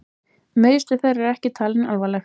Meiðsli þeirra eru ekki talin alvarleg